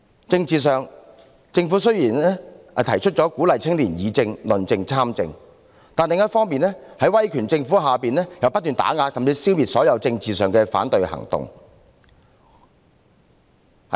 政治上，政府雖然提出了鼓勵青年議政、論政及參政，但另一方面，在威權政府下卻不斷打壓甚至消滅所有政治上的反對行動。